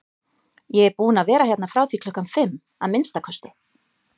Ég er búinn að vera hérna frá því klukkan fimm, að minnsta kosti